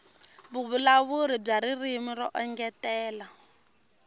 vuvulavuri bya ririmi ro engetela